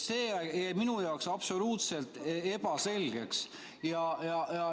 See jäi minu jaoks absoluutselt ebaselgeks.